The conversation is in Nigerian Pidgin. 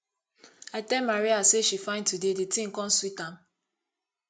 i tell maria say she fine today the thing come sweet am